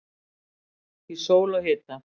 Í sól og hita.